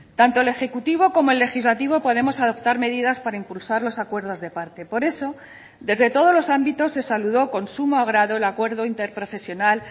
tanto el ejecutivo como el legislativo podemos adoptar medidas para impulsar los acuerdos de parte por eso desde todos los ámbitos se saludó con sumo agrado el acuerdo interprofesional